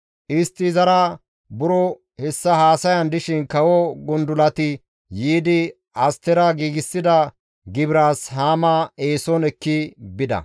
Istti izara buro hessa haasayan dishin kawo gundulati yiidi Astera giigsida gibiraas Haama eeson ekki bida.